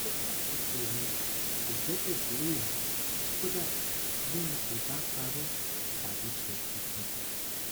o ṣakoso mi kò gbẹkẹlé mi kódà bí n kò bá parọ tàbí ṣe nǹkankan